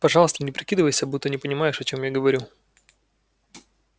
пожалуйста не прикидывайся будто не понимаешь о чем я говорю